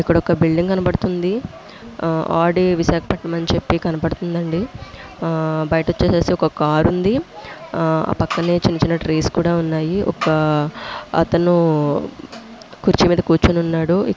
ఇక్కడ ఒక బిల్డింగ్ కనపడుతుంది. ఆడి విశాఖపట్నం అని కనపడుతుంది అండి. బయట వచ్చేసి ఒక కార్ ఉంది. హ పక్కనే చిన్న చిన్న ట్రీస్ ఉన్నాయి. ఒక అతను కుర్చీ మీద కూర్చున్నాడు. ఇక్ --